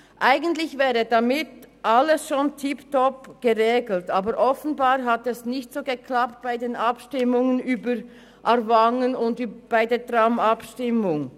Eigentlich wäre damit alles schon tipptopp geregelt, aber offenbar hat es bei den Abstimmungen über die Umfahrung Aarwangen und über das Tram nicht ganz geklappt.